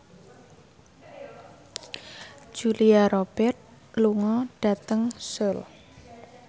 Julia Robert lunga dhateng Seoul